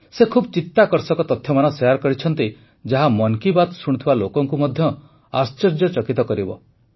ସେ ଖୁବ ଚିତାକର୍ଷକ ତଥ୍ୟମାନ ଶେୟାର କରିଛନ୍ତି ଯାହା ମନ୍ କି ବାତ୍ ଶୁଣୁଥିବା ଲୋକଙ୍କୁ ମଧ୍ୟ ଆଶ୍ଚର୍ଯ୍ୟଚକିତ କରିବ